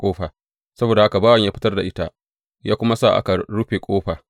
Saboda haka bawansa ya fitar da ita, ya kuma sa aka rufe ƙofa.